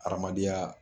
Adamadenya